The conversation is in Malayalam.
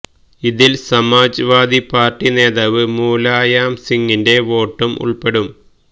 ഇതില് സമാജ് വാദി പാര്ട്ടി നേതാവ് മുലായംസിംഗിന്റെ വോട്ടും ഉള്പ്പെടും